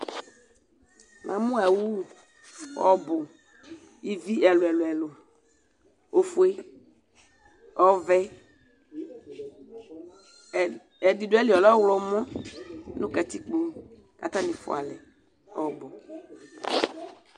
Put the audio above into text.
Namu awu ɔbu ivi ɛlu ɛlu ɛlu ɔfue ɔvɛ ɛdi du ayili ɔlɛ ɔɣlɔmɔ nu katikpo ku atani fua alɛ ɔbu